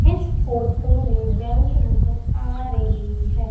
इस फोटो में बैंक नजर आ रही है।